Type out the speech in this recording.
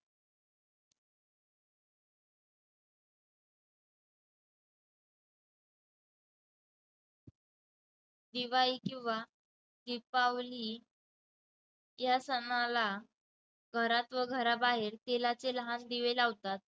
दिवाळी किंवा दीपावली या सणाला घरात व घराबाहेर तेलाचे लहान दिवे लावतात.